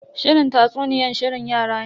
Shirin tatsuniyan shirin yara ne.